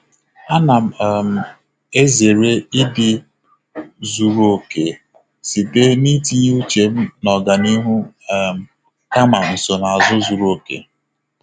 A na um m ezere ịdị zuru oke site n'itinye uche m na ọganihu um kama nsonaazụ zuru oke.